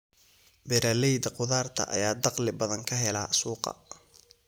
Beeralayda khudaarta ayaa dakhli badan ka hela suuqa.